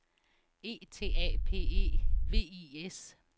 E T A P E V I S